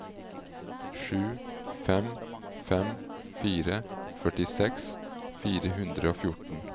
sju fem fem fire førtiseks fire hundre og fjorten